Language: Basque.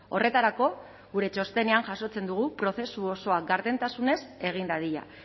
horretarako gure txostenean jasotzen dugu prozesu osoa gardentasunez egin dadila